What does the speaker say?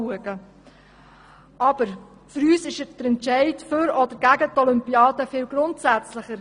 Doch für uns ist der Entscheid für oder gegen die Olympiade viel grundsätzlicher.